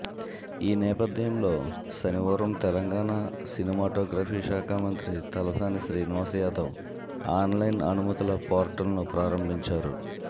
ఈనేపథ్యంలో శనివారం తెలంగాణ సినిమాటోగ్రఫీ శాఖ మంత్రి తలసాని శ్రీనివాస్ యాదవ్ ఆన్లైన్ అనుమతుల పోర్టల్ను ప్రారంభించారు